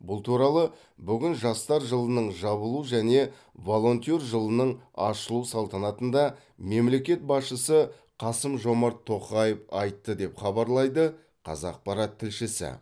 бұл туралы бүгін жастар жылының жабылу және волонтер жылының ашылу салтанатында мемлекет басшысы қасым жомарт тоқаев айтты деп хабарлайды қазақпарат тілшісі